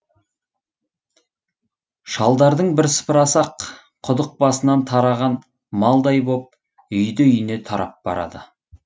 шалдардың бірсыпырасы ақ құдық басынан тараған малдай боп үйді үйіне тарап барады